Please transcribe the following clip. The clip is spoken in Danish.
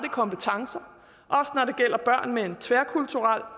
kompetencer og børn med en tværkulturel